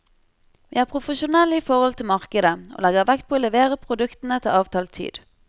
Vi er profesjonelle i forhold til markedet og legger vekt på å levere produktene til avtalt tid.